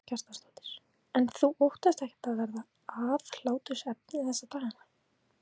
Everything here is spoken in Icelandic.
Karen Kjartansdóttir: En þú óttast ekkert að verða aðhlátursefni þessa dagana?